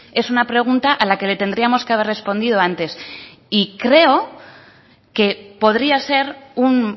es una pregunta a la que le tendríamos que haber respondido antes y creo que podría ser un